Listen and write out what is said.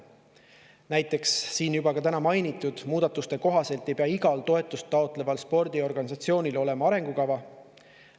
Näiteks siin juba ka täna mainitud muudatuste kohaselt ei pea igal toetust taotleval spordiorganisatsioonil olema arengukava.